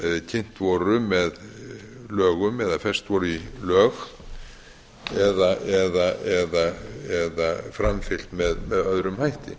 kynnt voru með lögum eða fest voru í lög eða framfylgt með öðrum hætti